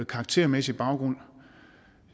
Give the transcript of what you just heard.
karaktermæssige baggrund